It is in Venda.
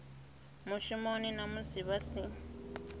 mushumoni na musi vha si